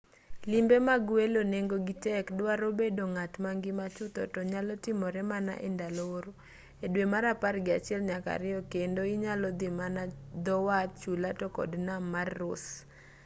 limbe mag welo nengogi tek dwaro bedo ng'at mangima chutho to nyalo timore mana endalo oro e dwe mar apar gi achiel nyaka ariyo kendo inyalo dhi mana dhowath chula to kod nam mar ross